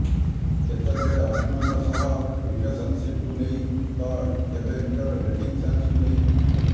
କେତେବେଳେ ଅର୍ଜୁନଙ୍କ ସହ ରିଲେସନଶିପକୁ ନେଇ ତ କେବେ ନିଜର ଡେସିଂ ସେନ୍ସକୁ ନେଇ